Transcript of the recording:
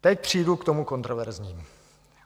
Teď přijdu k tomu kontroverznímu.